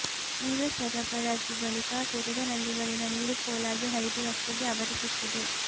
ನೀರು ಸರಬರಾಜು ಬಳಿಕ ತೆರೆದ ನಲ್ಲಿಗಳಿಂದ ನೀರು ಪೋಲಾಗಿ ಹರಿದು ರಸ್ತೆಗೆ ಆವರಿಸುತ್ತದೆ